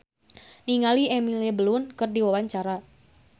Dony Kesuma olohok ningali Emily Blunt keur diwawancara